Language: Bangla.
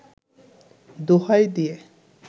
দোহাই দিয়ে